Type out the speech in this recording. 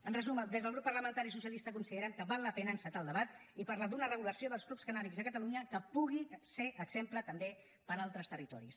en resum des del grup parlamentari socialista considerem que val la pena encetar el debat i parlar d’una regulació dels clubs cannàbics a catalunya que pugui ser exemple també per a altres territoris